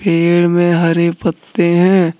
पेड़ में हरे पत्ते हैं।